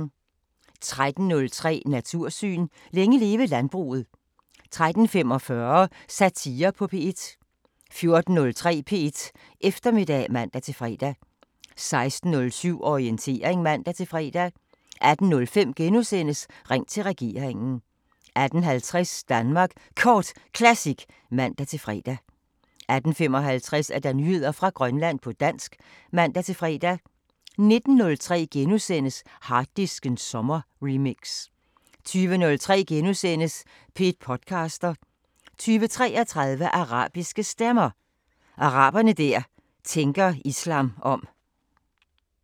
13:03: Natursyn: Længe leve landbruget 13:45: Satire på P1 14:03: P1 Eftermiddag (man-fre) 16:07: Orientering (man-fre) 18:05: Ring til regeringen * 18:50: Danmark Kort Classic (man-fre) 18:55: Nyheder fra Grønland på dansk (man-fre) 19:03: Harddisken sommerremix * 20:03: P1 podcaster * 20:33: Arabiske Stemmer: Arabere der tænker islam om